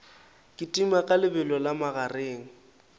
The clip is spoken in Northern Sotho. kitima ka lebelo la magareng